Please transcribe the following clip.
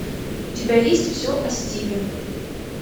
у тебя есть все о стиве